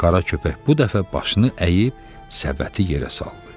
Qara köpək bu dəfə başını əyib səbəti yerə saldı.